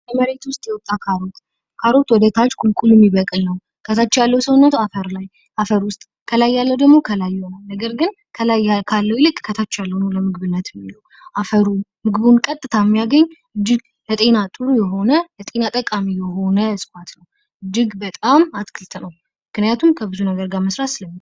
የመሬት ውስጥ የወጣው ካሮት ካሮት ወደታች ቁልቁል የሚበቅ ነው። ከታች ያለው ሰውነቷ አፈር ላይ አፈር ውስጥ ከላይ ያለው ደግሞ ቀላል የሆነ ነገር ግን ከላይ አካላዊ ከታች ያለው ነው አፈሩ ገጣሚው ያገኝ ልዩነቱን የሆነ ጤና ጠቃሚ የሆነ ስፋት ግንባታም አትክልት ነው. ግን የቱንም ያህል ዋጋ መሠረት ሰለሚቻል።